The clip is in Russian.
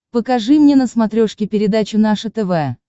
покажи мне на смотрешке передачу наше тв